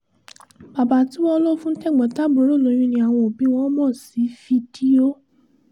bàbá tí wọ́n lò fún tẹ̀gbọ́n-tàbúrò lóyún ni àwọn òbí wọn mọ̀ sí i fídíò